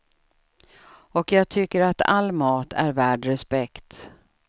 Och jag tycker att all mat är värd respekt.